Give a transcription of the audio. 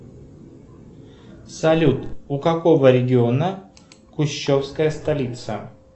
салют у какого региона кущевская столица